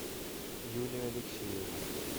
юлия алексеева